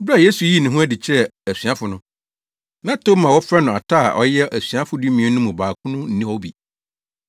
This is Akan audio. Bere a Yesu yii ne ho adi kyerɛɛ asuafo no, na Toma a wɔfrɛ no Ata a ɔyɛ asuafo dumien no mu baako no nni hɔ bi.